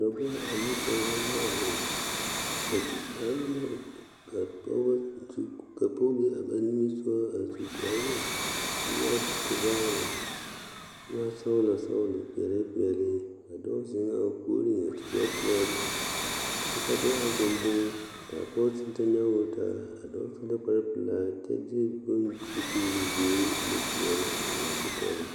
Dɔbɔ ane pɔɡebɔ la a zeŋ ka pɔɡe be a ba niŋe soɡa a su kparoo ka o e tevaare kyɛ waa sɔɔlɔsɔɔlɔ peɛlepeɛle a dɔɔ zeŋ a o puoriŋ a su kparpelaa kyɛ ka dɔɔ are dendeŋe ka pɔɡe zeŋ kyɛ nyɔɡe o taa a su la kparpelaa kyɛ de bone ka o tuuli ziiri ane peɛle ka eŋ o eŋ o kɔkɔreŋ.